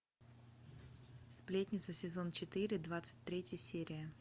сплетница сезон четыре двадцать третья серия